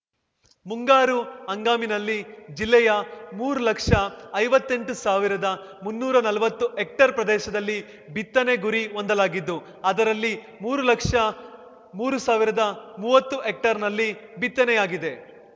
ಮುಂಗಾರು ಹಂಗಾಮಿನಲ್ಲಿ ಜಿಲ್ಲೆಯ ಮೂರು ಲಕ್ಷಐವತ್ತೆಂಟು ಸಾವಿರದ ಮುನ್ನೂರ ನಲ್ವತ್ತು ಹೆಕ್ಟೇರ್‌ ಪ್ರದೇಶದಲ್ಲಿ ಬಿತ್ತನೆ ಗುರಿ ಹೊಂದಲಾಗಿದ್ದು ಅದರಲ್ಲಿ ಮೂರು ಲಕ್ಷಮೂರು ಸಾವಿರ್ದಾಮುವತ್ತು ಹೆಕ್ಟೇರ್‌ನಲ್ಲಿ ಬಿತ್ತನೆಯಾಗಿದೆ